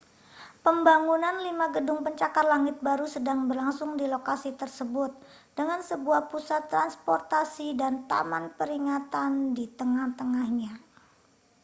pembangunan lima gedung pencakar langit baru sedang berlangsung di lokasi tersebut dengan sebuah pusat transportasi dan taman peringatan di tengah-tengahnya